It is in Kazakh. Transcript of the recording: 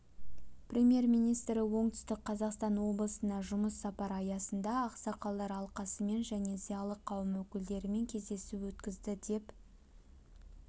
премьер-министрі оңтүстік қазақстан облысына жұмыс сапары аясында ақсақалдар алқасымен және зиялы қауым өкілдерімен кездесу өткізді деп